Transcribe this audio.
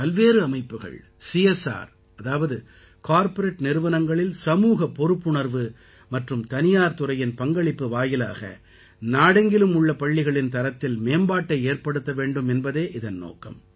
பல்வேறு அமைப்புகள் CSR corporate நிறுவனங்களில் சமூகப் பொறுப்புணர்வு மற்றும் தனியார் துறையின் பங்களிப்பு வாயிலாக நாடெங்கிலும் உள்ள பள்ளிகளின் தரத்தில் மேம்பாட்டை ஏற்படுத்த வேண்டும் என்பதே இதன் நோக்கம்